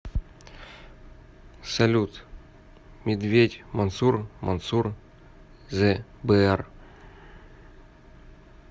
салют медведь мансур мансур зе бэар